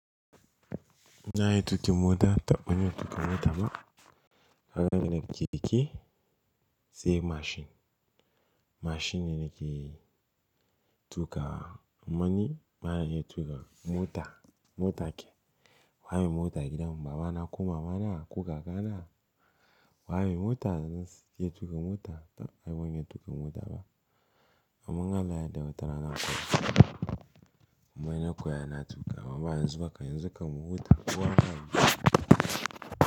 Na yi tuƙin mota, taɓani na tuƙa mota ma. Haka na keke sai mashin. Mashin yana ke tuƙa mani, bana iya tuƙa mota. Mota ke. Wa mai mota ke damu ba ana kuma mana kuka kana. Wa mai mota yana ke tuƙa mota, taɓani ban iya tuƙa mota ba. Amma Allah ya dauke ranaku. Mana koya na tuƙa, mama zuba ka yanzu ka mu huta uwa ka.